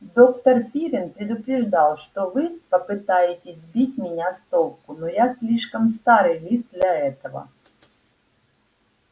доктор пиренн предупреждал что вы попытаетесь сбить меня с толку но я слишком старый лис для этого